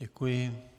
Děkuji.